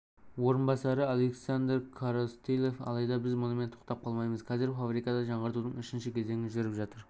орынбасары александр коростылев алайда біз мұнымен тоқтап қалмаймыз қазір фабрикада жаңғыртудың үшінші кезеңі жүріп жатыр